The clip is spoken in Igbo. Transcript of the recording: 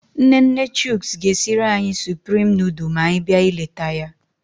Nne nne Chuks ga-esiri anyị supreme nudul ma anyị bịa ileta ya.